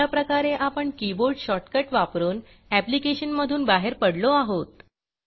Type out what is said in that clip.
अशाप्रकारे आपण keyboard shortcut वापरून ऍप्लिकेशन मधून बाहेर पडलो आहोत